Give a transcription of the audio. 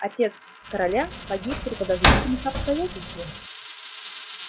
отец короля погиб при подозрительных обстоятельствах